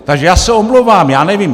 Takže já se omlouvám, já nevím.